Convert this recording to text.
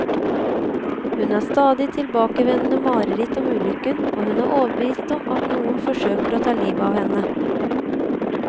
Hun har stadig tilbakevendende mareritt om ulykken, og hun er overbevist om at noen forsøker å ta livet av henne.